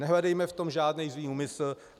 Nehledejme v tom žádný zlý úmysl.